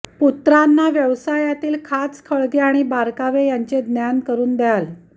पुत्रांना व्यवसायातील खाचखळगे आणि बारकावे यांचे ज्ञान करून द्याल